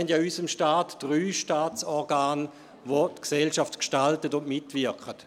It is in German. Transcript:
In unserem Staat haben wir ja drei Staatsorgane, welche die Gesellschaft gestalten und mitwirken.